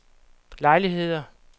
lejligheder